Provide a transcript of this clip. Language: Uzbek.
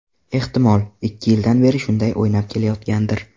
Ehtimol, ikki yildan beri shunday o‘ynab kelayotgandir.